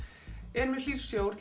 er mjög hlýr sjór